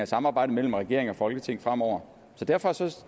samarbejdet mellem regering og folketing fremover så derfor